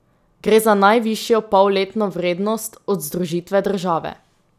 Gre za najvišjo polletno vrednost od združitve države.